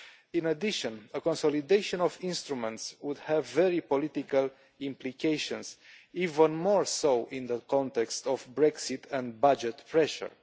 In addition, a consolidation of instruments would have very political implications, even more so in the context of Brexit and budget pressure.